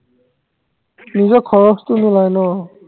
নিজৰ খৰছটো নোলায় ন